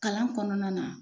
Kalan kɔnɔna na.